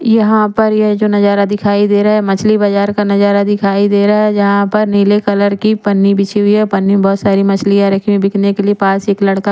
यहा पे जो ये नजारा दिखाई दे रहा है मछली बजार का नजारा दिखाई दे रहा है जहा पर नील कलर की पनी रखी बिछी हुई है पनी में बहोत सारी मछलिया रखी हुई है बिकने के लिए पास एक लड़का--